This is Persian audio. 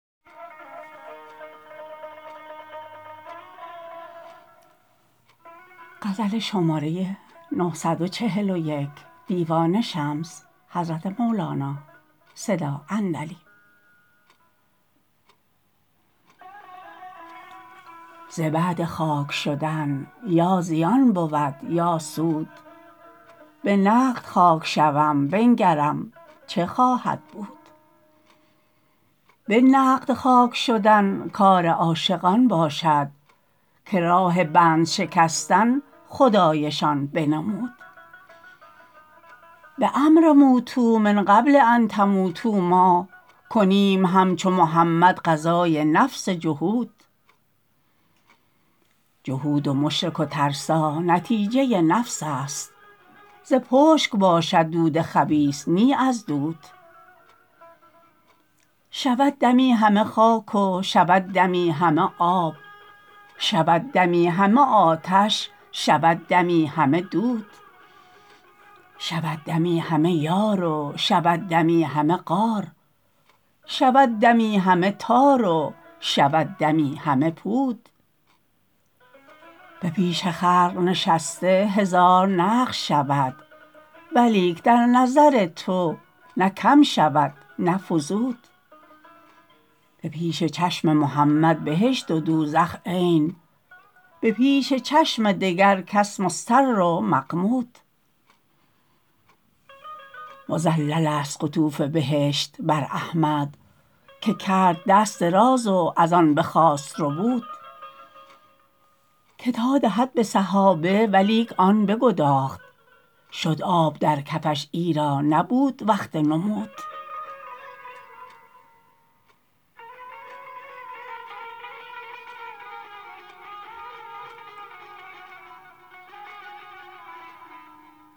ز بعد خاک شدن یا زیان بود یا سود به نقد خاک شوم بنگرم چه خواهد بود به نقد خاک شدن کار عاشقان باشد که راه بند شکستن خدایشان بنمود به امر موتوا من قبل ان تموتوا ما کنیم همچو محمد غزای نفس جهود جهود و مشرک و ترسا نتیجه نفس است ز پشک باشد دود خبیث نی از عود شود دمی همه خاک و شود دمی همه آب شود دمی همه آتش شود دمی همه دود شود دمی همه یار و شود دمی همه غار شود دمی همه تار و شود دمی همه پود به پیش خلق نشسته هزار نقش شود ولیک در نظر تو نه کم شود نه فزود به پیش چشم محمد بهشت و دوزخ عین به پیش چشم دگر کس مستر و مغمود مذللست قطوف بهشت بر احمد که کرد دست دراز و از آن بخواست ربود که تا دهد به صحابه ولیک آن بگداخت شد آب در کفش ایرا نبود وقت نمود